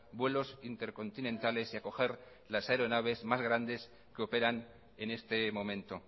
vuelos intercontinentales y acoger las aeronaves más grandes que operan en este momento